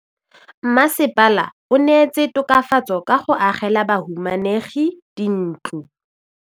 Mmasepala o neetse tokafatsô ka go agela bahumanegi dintlo.